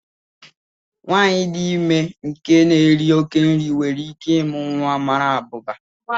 Nwanyị dị ime nke na-éri oké nri nwere íké ịmụ nwa mara abụba